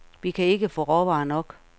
Vi kan ikke få råvarer nok.